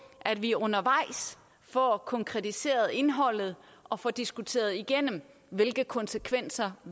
at vi undervejs får konkretiseret indholdet og får diskuteret igennem hvilke konsekvenser